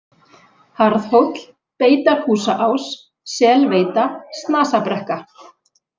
Harðhóll, Beitarhúsaás, Selveita, Snasabrekka